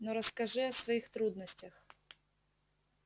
но расскажи о своих трудностях